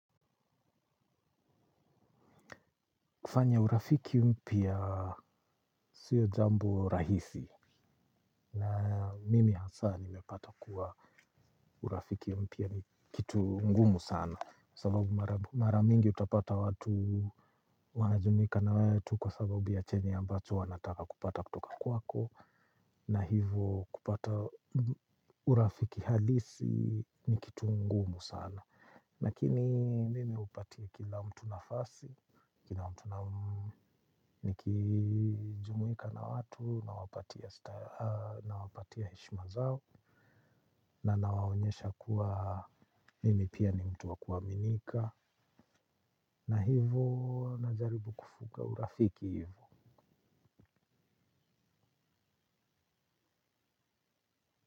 Kufanya urafiki mpya siyo jambo rahisi na mimi hasa nimepata kuwa urafiki mpya ni kitu ngumu sana. Sababu maramingi utapata watu wanajumuika na wewe tu kwa sababu ya chenya ambacho wanataka kupata kutoka kwako. Na hivo kupata urafiki halisi ni kitu ngumu sana. Nakini mimi upatia kila mtu nafasi, nikijumuika na watu, na wapatia heshma zao. Na nawaonyesha kuwa mimi pia ni mtu wakuwaminika. Na hivu najaribu kufuka urafiki hivu.